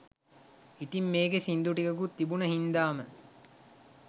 ඉතිං මේකේ සින්දු ටිකකුත් තිබුණ හින්දාම